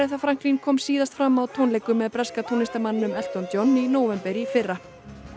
Franklin kom síðast fram á tónleikum með breska tónlistarmanninum Elton John í nóvember í fyrra